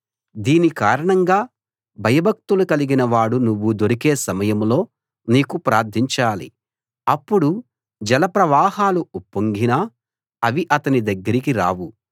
దీని కారణంగా భయభక్తులు కలిగిన వాడు నువ్వు దొరికే సమయంలో నీకు ప్రార్ధించాలి అప్పుడు జల ప్రవాహాలు ఉప్పొంగినా అవి అతని దగ్గరకు రావు